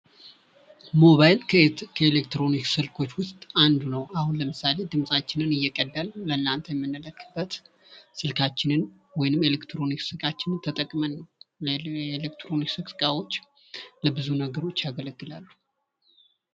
ሞባይል ከኤሌትሮኒክስ ስልኮች ውስጥ አንዱ ነው ። አሁን ለምሳሌ ድምፃችንን እየቀዳን ለእናንተ የምንልክበት ስልካችንን ወይም ኤሌትሮኒክስ እቃችንን ተጠቅመን እና የኤሌትሮኒክስ እቃዎች ለብዙ ነገሮች ያገለግላሉ ።